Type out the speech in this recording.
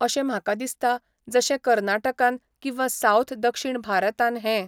अशें म्हाका दिसता, जशें कर्नाटकान किंवा सावथ दक्षीण भारतान हें